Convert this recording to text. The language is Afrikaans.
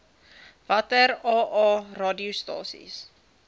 watter aa radiostasies